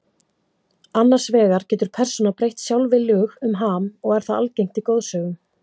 Annars vegar getur persóna breytt sjálfviljug um ham og er það algengt í goðsögum.